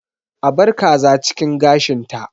A bar kaza cikin gashinta.